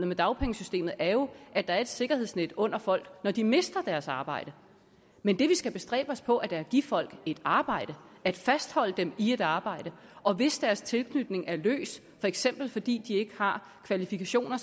med dagpengesystemet er jo at der er et sikkerhedsnet under folk når de mister deres arbejde men det vi skal bestræbe os på er da at give folk et arbejde at fastholde dem i et arbejde og hvis deres tilknytning er løs for eksempel fordi de ikke har kvalifikationer